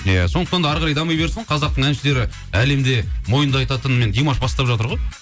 иә сондықтан да әрі қарай дами берсін қазақтың әншілері әлемде мойындататын димаш бастап жатыр ғой